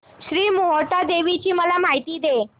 श्री मोहटादेवी ची मला माहिती दे